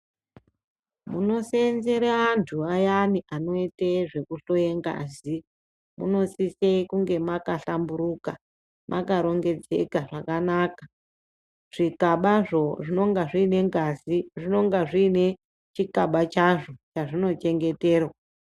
Munoseenzere antu ayani anoite zvekuhloye ngazi, munosise kunga makhlamburuka, makarongedzeka zvakanaka. Zvikabazvo zvinonga zviine ngazi, zvinonga zviine chikaba chazvo chazvino chengeterwa.